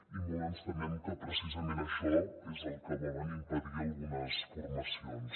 i molt ens temem que precisament això és el que volen impedir algunes formacions